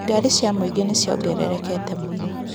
Ngari cia mũingĩ nĩ ciongererekete mũno.